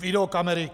Videokamery!